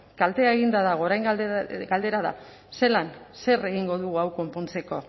kaltea eginda dago orain galdera da zelan zer egingo dugu hau konpontzeko